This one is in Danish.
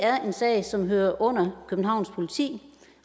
er en sag som hører under københavns politi